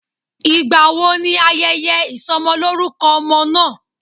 Ìgbà wo ni ayẹyẹ ìsọmọlórúkọ ọmọ náà?